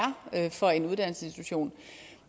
for en uddannelsesinstitution